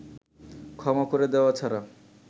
ক্ষমা করে দেওয়া ছাড়া